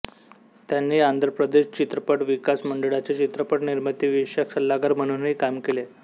त्यांनी आंध्रप्रदेश चित्रपट विकास मंडळाचे चित्रपट निर्मितीविषयक सल्लागार म्हणूनही काम केले